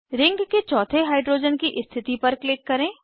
ring के चौथे hydrogen की स्थिति पर क्लिक करें